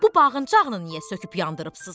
Bu bağıncağını niyə söküb yandırıbsız?